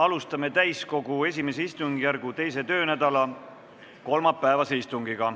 Alustame täiskogu I istungjärgu 2. töönädala kolmapäevast istungit.